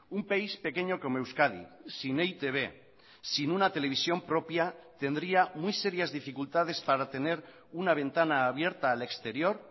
un país pequeño como euskadi sin e i te be sin una televisión propia tendría muy serias dificultades para tener una ventana abierta al exterior